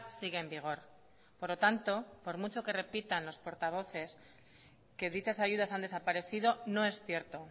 sigue en vigor por lo tanto por mucho que repitan los portavoces que dichas ayudas han desaparecido no es cierto